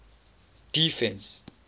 defence